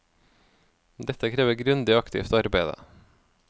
Dette krever grundig og aktivt arbeide.